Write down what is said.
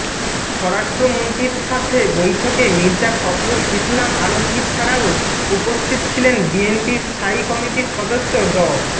স্বরাষ্ট্রমন্ত্রীর সাথে বৈঠকে মির্জা ফখরুল ইসলাম আলমগীর ছাড়াও উপস্থিত ছিলেন বিএনপির স্থায়ী কমিটির সদস্য ড